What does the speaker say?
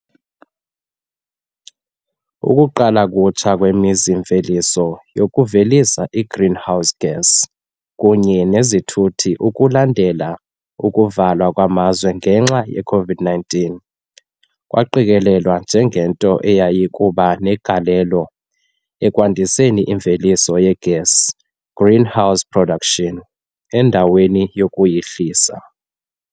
"Ukuqala kutsha" kwemizi-mveliso yokuvelisa i-greenhouse gas kunye nezithuthi ukulandela ukuvalwa kwamazwe ngenxa ye-COVID-19 kwaqikelelwa njengento eyayiya kuba negalelo ekwandiseni imveliso yegesi, green house production, endaweni yokuyihlisa.